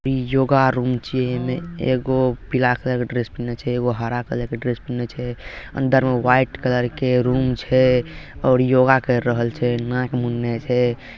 इ योगा रुम चिय ए में एगो पीला कलर के ड्रेस पिन्ने छे एगो हरा कलर के ड्रेस पिन्ने छे अंदर में व्हाइट कलर के रूम छे और योगा कर रहल छे नाक मुन्ने छे।